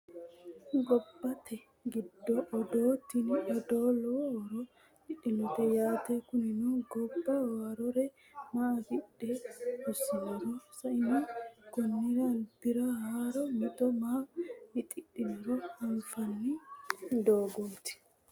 Gobbate giddo odoo tini odoo lowo horo afidhinote yaate kunino gobba haarore maa afidhe hosinoro sa'eno konnira alibira haaro mixo maa mixidhinoro anfanni doogoti